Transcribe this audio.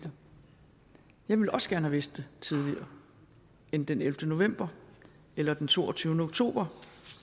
jeg vil også gerne have vidst det tidligere end den ellevte november eller den toogtyvende oktober